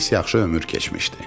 Pis-yaxşı ömür keçmişdi.